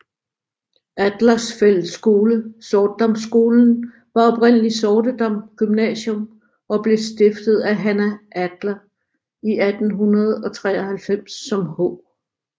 Adlers Fællesskole Sortedamskolen var oprindeligt Sortedam Gymnasium og blev stiftet af Hanna Adler i 1893 som H